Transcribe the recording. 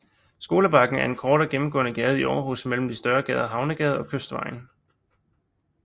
Skolebakken er en kortere gennemgående gade i Aarhus mellem de større gader Havnegade og Kystvejen